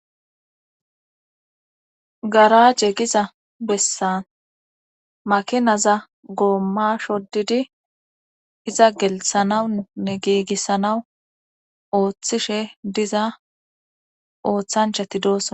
garaaje giza bessan makinaza goomma shoddidi iza gelthanawunnne giigissanawu ooththishe diza ooththanchati doosona